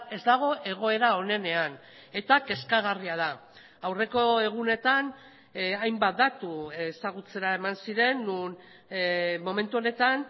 ez dago egoera onenean eta kezkagarria da aurreko egunetan hainbat datu ezagutzera eman ziren non momentu honetan